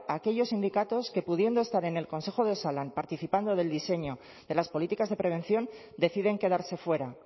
a aquellos sindicatos que pudiendo estar en el consejo de osalan participando del diseño de las políticas de prevención deciden quedarse fuera